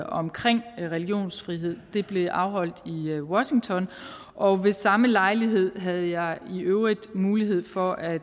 omkring religionsfrihed det blev afholdt i washington og ved samme lejlighed havde jeg i øvrigt mulighed for at